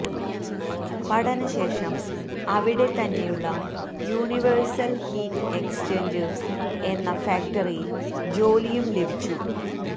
പഠനശേഷം അവിടെ തന്നെയുള്ള Universal Heat Exchangers എന്ന ഫാക്ടറിയിൽ ജോലിയും ലഭിച്ചു